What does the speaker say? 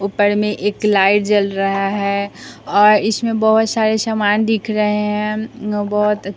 ऊपर में एक लाइट जल रहा हैऔर इसमें बहुत सारे सामान दिख रहे हैं उम बहुत।